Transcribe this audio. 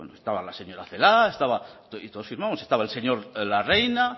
estaba la señora celaá estaba y todos firmamos estaba el señor larreina